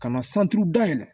Ka na san duuru dayɛlɛ